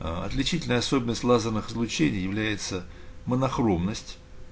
аа отличительная особенность лазерных излучений является монохромность